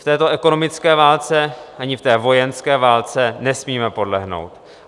V této ekonomické válce ani v té vojenské válce nesmíme podlehnout.